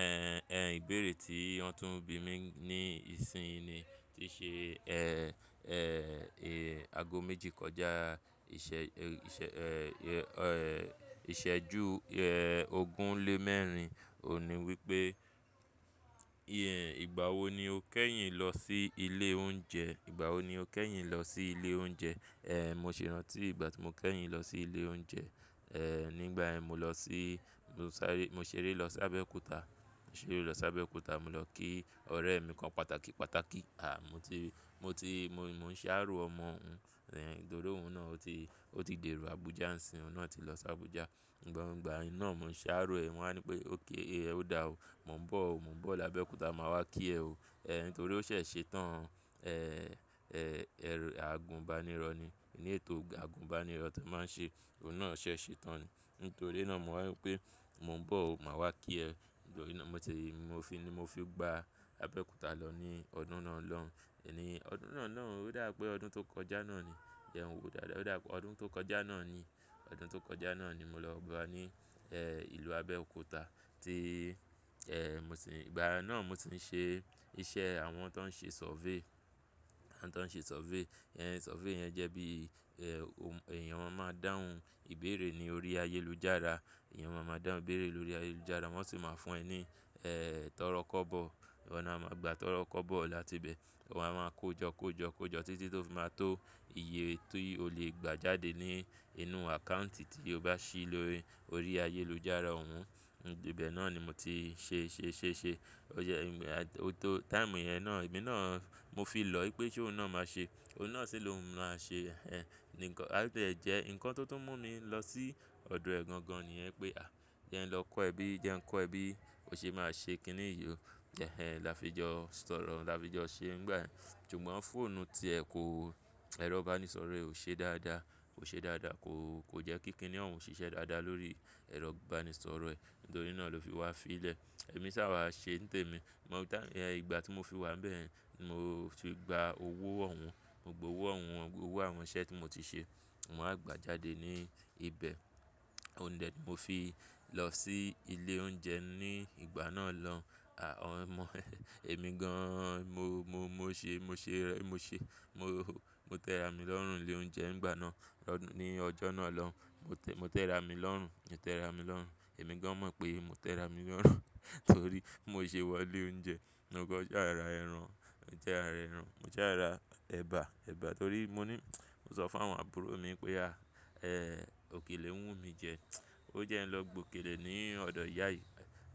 Ẹ̀, ẹ̀ ìbéèrè tí ìyantunbi mi ní ìsìn ni tí ṣe, ẹ́ẹ́, ẹ́ẹ́, e, aago méjì kọjá, ìṣe, ìṣe, ẹ́ẹ́, ẹ́ẹ́, ìṣẹ́jú, ẹ́ẹ́ ogún lé mẹ́rin. Ò ní wípé, ìh, ìgbà wo ni o kẹ́yìn lọ sí ilé oúnjẹ? Ìgbà wo ni o kẹ́yìn lọ sí ilé oúnjẹ? Ẹ̀, mo sì rántí ìgbà tí mo kẹ́yìn lọ sí ilé oúnjẹ. Ẹ̀, nígbà ẹ́ mo lọ sí, mo sáré, mo ṣeré lọ sí Abẹ́òkúta. Mo ṣeré lọ sí Abẹ́òkúta, mo lọ kí ọ̀rẹ́ mi kan pàtàkì, pàtàkì. À, mo ti, mo ti, mo, mo ń sáàró ọmọ ọ̀un. Ẹ̀ nítorí òun náà o ti, o ti dèró Abuja. Òun náà ti lọ sí Abuja. Gbogbo, ìgbà yen ná mo ń sáàró ẹ. Wọ́n á ní pé, "òkè ẹ ó dá o. Mo ń bọ̀ o. Mo ń bọ̀ lábẹ́òkúta, màá wá kí ẹ o." Ẹ̀ nítorí ó ṣẹ̀ ṣe tán. Ẹ̀, ẹ́ẹ́, ẹ́ẹ́, àgùnbánirọ̀ ni. Ní ètò àgùnbánirọ̀ tó máa ń ṣe. Òun náà ṣẹ̀ ṣe tán ni. Nítorí iná mo wá wípé, "mo ń bọ̀ o, màá wá kí ẹ." Nítorí ná mo ti, mo fi ni mo fi gba Abẹ́òkúta lọ ní ọdún náà lọ́un. Ẹ̀ ni ọdún náà náà ó dà pé ọdún tó kọjá náà ni. Je n wò dáadaa, ó dà pé ọdún tó kọjá náà ni. Ọdún tó kọjá náà ni mo lọ ba ní, ẹ́ẹ́ ìlú Abẹ́òkúta tí, ẹ́ẹ́ mo sì ń, ìgbà iná mo ti ń ṣe iṣẹ́ àwọn tó ń ṣe survey. Àwọn tó ń ṣe survey. Ẹ̀ survey yẹn jẹ́ bí, ẹ́ẹ́ èèyàn máa dáhùn ìbéèrè ní orí ayélujára. Ẹ̀yàn máa máa dáhùn ìbéèrè lórí ayélujára. Wọ́n sì máa fún ẹ ní, ẹ́ẹ́ tọ́rọ́ kọ́bọ̀. Ọ̀un a máa gba tọ́rọ́ kọ́bọ̀ láti ibẹ̀. Wa máa kó jọ kó jọ kó jọ títí tó máa tó iye tí o lè gbà jáde ní inú àkáùntì tí o bá ṣí lórí, orí ayélujára òun. Ìbẹ̀ náà ni mo ti ṣe ṣe ṣe ṣe. O jẹ, o tó táìmù yẹn náà, èmi náà mo fi lọ wípé ṣé òun náà máa ṣe. Òun náà sì ló máa ṣe, ẹ́ẹ́ nǹkan. Ati ẹ̀ jẹ́ nǹkan tó tún mú mi lọ sí ọ̀dọ̀ ẹ̀ gan gan ni yẹn pé, à jẹ́ ẹ lọ kó ẹbí, jẹ́ ń kó ẹbí, ó ṣe é máa ṣe kíni yìí o. Ẹ̀hen, là á fi jọ sọ̀rọ̀, là á fi jọ ṣe nígbà yen. Ṣùgbọ́n fóònù tí ẹ̀ kó, ẹ̀rọ ìbánisọ̀rọ̀ ẹ ò ṣe dáadáa. Kò ṣe dáadáa. Kò, kò jẹ́ kíkiní, òhun ò ṣiṣẹ́ dáadáa lórí ẹ̀rọ ìbánisọ̀rọ̀ ẹ. Nítorí ná ló fi wá fi í lẹ̀. Ẹ̀mí sá wá ṣe ní tèmi. Mo tá, ẹ̀ ìgbà tí mo fi wá níbẹ̀ yẹn, mo fi gba owó ọ̀wọ́n. Gba owó ọ̀wọ́n wọn, owó àwọn iṣẹ́ tí mo ti ṣe. Mo máa gba jáde ní ibẹ̀. Òún dẹ mo fi lọ sí ilé oúnjẹ ní ìgbà náà lọ́un. À ọ́n mọ̀ ẹ́, èmi gan-an mo, mo, mo ṣe, mo ṣe, mo ṣe, mo, mo tẹra mi lọ́rùn ilé oúnjẹ ní ìgbà náà. Lọ́ ní ọjọ́ náà lọ́. Mo tẹ, mo tẹra mi lọ́rùn. Mo tẹra mi lọ́rùn. Èmi gan-an mọ̀ pé mo tẹra mi lọ́rùn. Nítorí mo ṣe wọ ilé oúnjẹ. Mo kọ́n sha ra ẹran. Jára ẹran. Jára ẹbà, ẹbà. Torí mo ní, mo sọ fún àwọn àbúrò mi pé à, ẹ́ẹ́ òkèlè ń wù mí jẹ. O jẹ́ n lọ gbokèlè ní ọ̀dọ̀ ìyá yìí.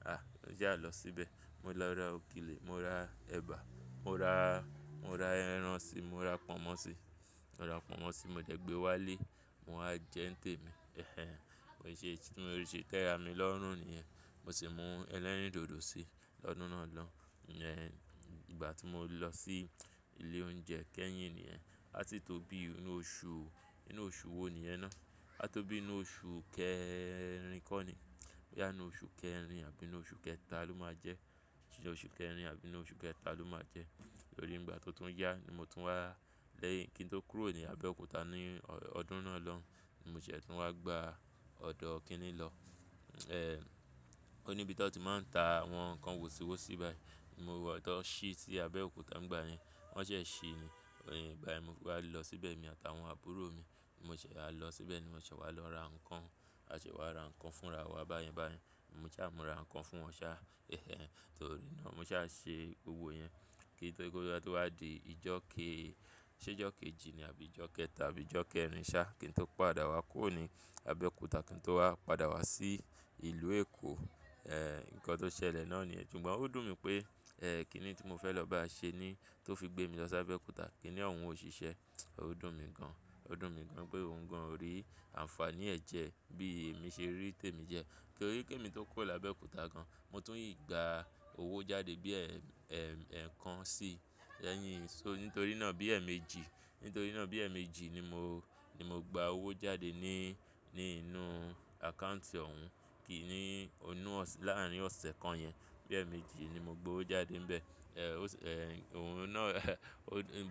À já lọ síbẹ̀. Mo lọ ra òkèlè, mo ra ẹbà, mo ra, mo ra ẹran sì, mo ra pọnmọ́ sì. Mo ra pọnmọ́ sì, mo dẹ̀ gbé wá ilé. Mo á jẹ́ ń tèmi. Ẹ̀hen. Mo se ti, mo ṣe tẹra mi lọ́rùn niyẹn. Mo sì mú ẹlẹ́rìndòdò sì lọ́dún náà lọ́. Ẹ̀ ìgbà tí mo lọ sí ilé oúnjẹ kẹ́yìn ni ẹ́. Á ti tó bí inú oṣù, inú oṣù wo ni ẹ́ náà. Á tó bí inú oṣù kẹrin kọ́ ni. Bóyá inú oṣù kẹrin àbí inú oṣù kẹta ló máa jẹ́. Inú kẹrin àbí inú osù kẹta ló ma jẹ. Torí ìgbà tó tún yá ni mo tún wá lẹ́yìn kí n tó kúrò ní Abẹ́òkúta ní ọ̀dún náà lọ́ ni mo ṣẹ̀ tún wá gba ọ̀dọ́ kíní lọ. E, oni ibi ti won n ti ma n ta awon nnkàn wosiwosi ti won si si Abeokuta nigba yen. Wọ́n ṣẹ̀ ṣí ni. Ìgbà yẹn mo fi wa lọ síbẹ̀ èmi àtàwọn àbúrò mi. Mo ṣẹ̀ á lọ síbẹ̀ ni mo ṣẹ̀ wá lọ ra nǹkan. A ṣẹ̀ wá ra nǹkan fúnra wa báyẹn báyẹn. Mo sa mora nǹkan fún wọn sá. Ẹ̀hen. Torí naá mo ṣà ṣe gbogbo yẹn. Kí n tó, kí ó bá ti wá di ijọ́ ke-- ṣé'jọ́ kejì ni àbí ijọ́ kẹta àbí ijọ́ kẹrin sá kí n tó padà wá kúrò ní Abẹ́òkúta. Kí n tó wá padà wá sí ìlú Èkó. E, nkan to sele naa niyen, sugbon o dun mi pe, kinni ti mo fe lo baa se ni to fi gbe mi lo s'Abeokuta. Kíni ohun ò ṣìṣẹ́. Ó dùn mí gan. Ó dùn mí gan pé òun gan ò rí àǹfààní ẹ̀ jẹ bí èmi ṣe rí tèmi jẹ. Torí kí èmi tó kúrò lábẹ́òkúta gan, mo i tún gba owó jáde bí, ẹ́ẹ́ ẹ́ẹ́kan sí. Ẹ̀yin, so nítorí ná bí ẹ̀eméjì. Nítorí iná bí ẹ̀méjì ni mo, ni mo gba owó jáde ní, ní inú àkáùntì òun. Kí í ní inú ọ̀sì, láàárín ọ̀sẹ̀ kan yẹn. Bí ẹ̀méjì ni mo gbowó jáde níbẹ̀. Ẹ̀ ó sì, ẹ̀ òun ná,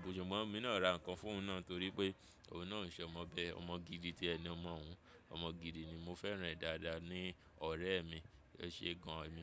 ṣùgbọ́n èmi náà ra nǹkan fún òun náà torí pé òun náà ń ṣẹ̀ ọmọ bẹ, ọmọ gidi tí ẹ ni omọ̀ ọ̀un. Ọmọ gidi ni. Mo fẹ́ràn ẹ́ dáadáa ní ọ̀rẹ́ mi. E se gan, emi naa.